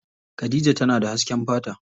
Khadija tana da hasken fata.